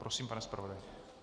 Prosím, pane zpravodaji.